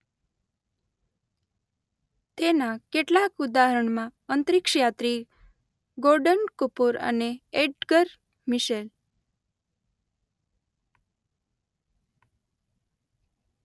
તેના કેટલાક ઉદાહરણમાં અંતરિક્ષયાત્રી ગોર્ડન કૂપર અને એડ્ગર મિશેલ